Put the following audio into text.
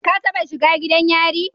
Ka taba shiga gidan yari?